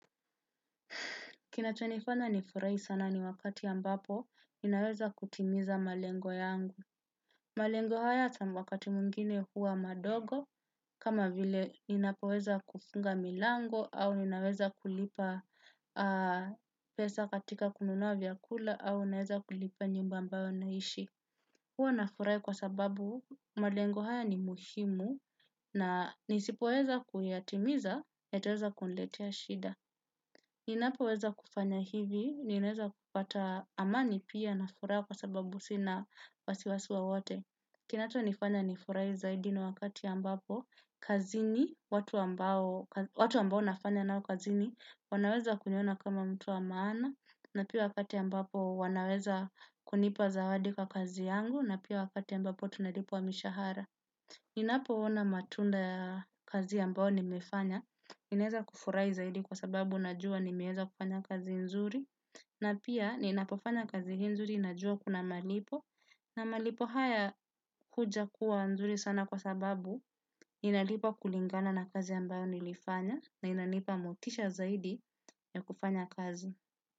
Kinachonifanya nifurahi sana ni wakati ambapo ninaweza kutimiza malengo yangu. Malengo haya wakati mwingine huwa madogo kama vile ninapoweza kufunga milango au ninaweza kulipa pesa katika kununua vyakula au naweza kulipa nyumba ambayo naishi. Huwa nafurahi kwa sababu malengo haya ni muhimu na nisipoweza kuyatimiza yataweza kuniletea shida. Ninapoweza kufanya hivi, ninaweza kupata amani pia na furaha kwa sababu sina wasiwasi wowote. Kinachonifanya nifurahi zaidi ni wakati ambapo, kazini watu ambao nafanya nao kazini wanaweza kuniona kama mtu wa maana, na pia wakati ambapo wanaweza kunipa zawadi kwa kazi yangu, na pia wakati ambapo tunalipwa mishahara. Ninapoona matunda ya kazi ambayo nimefanya, ninaweza kufurahi zaidi kwa sababu najua nimeweza kufanya kazi nzuri. Na pia ninapofanya kazi hii nzuri najua kuna malipo. Na malipo haya huja kuwa nzuri sana kwa sababu ninalipwa kulingana na kazi ambayo nilifanya. Na inanipa motisha zaidi ya kufanya kazi.